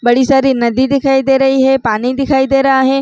बड़ी सारी नदी दिखाई दे रही हे पानी दिखाई दे रहा हे।